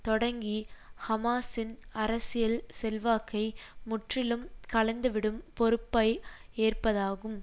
தொடங்கி ஹமாஸின் அரசியல் செல்வாக்கை முற்றிலும் களைந்துவிடும் பொறுப்பை ஏற்பதாகும்